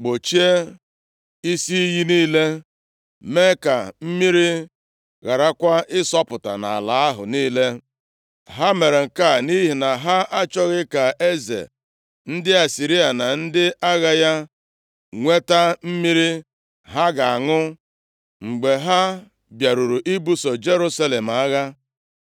gbochie isi iyi niile, mee ka mmiri gharakwa ịsọpụta nʼala ahụ niile. Ha mere nke a nʼihi na ha achọghị ka eze ndị Asịrịa na ndị agha ya nweta mmiri ha ga-aṅụ mgbe ha bịaruru ibuso Jerusalem agha.